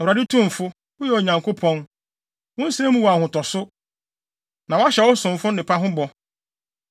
Awurade Tumfo, woyɛ Onyankopɔn! Wo nsɛm mu wɔ ahotoso, na woahyɛ wo somfo nnepa ho bɔ.